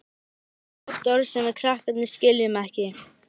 Hann notar oft orð sem við krakkarnir skiljum ekki.